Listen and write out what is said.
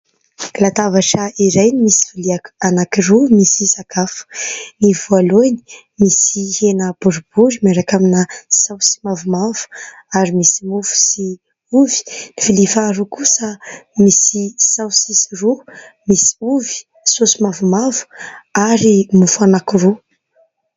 Latabatra iray misy vilia anankiroa misy sakafo. Ny voalohany misy hena boribory miaraka amina saosy mavomavo ary misy mofo sy ovy. Ny vilia faharoa kosa misy saosisy roa, misy ovy, saosy mavomavo ary mofo anankiroa.